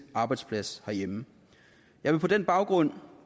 arbejdsplads herhjemme jeg vil på den baggrund